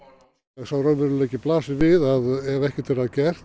sá raunveruleiki blasir við að ef ekkert er að gert